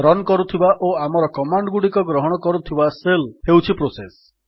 run କରୁଥିବା ଓ ଆମର କମାଣ୍ଡ୍ ଗୁଡିକ ଗ୍ରହଣ କରୁଥିବା ଶେଲ୍ ହେଉଛି ପ୍ରୋସେସ୍